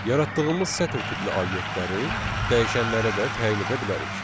Yaratdığımız sətr tipli obyektləri dəyişənlərə də təyin edə bilərik.